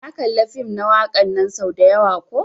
Na kalla fim na wakan nan sau dayawa ko.